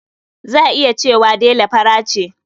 Za a iya cewa Dela fara ce.